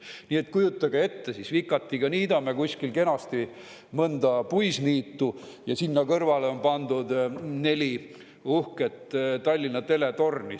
Nii et kujutage ette, vikatiga niidame kuskil kenasti mõnda puisniitu – ja sinna kõrvale on pandud neli uhket Tallinna teletorni.